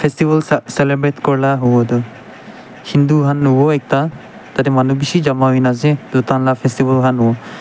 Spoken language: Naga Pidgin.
festival cel celebrate kurela huwo tu hindi ekta tatey manu bishi jama huiina ase toh taihan la festival han huwo.